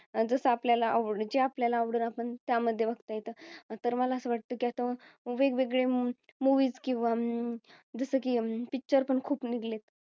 जसं आपल्याला जे आपल्याला आवडेल त्या मध्ये बघता येतात तर मला असं वाटतं की वेगवेगळे Movies किंवा जसं की अं Picture पण खूप निघालेत